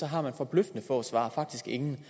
har man forbløffende få svar faktisk ingen